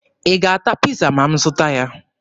Ị ga-ata Piiza ma m zụta ya?